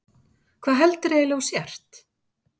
Hvað heldur þú eiginlega að þú sért?